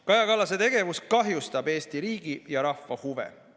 Kaja Kallase tegevus kahjustab Eesti riigi ja rahva huve.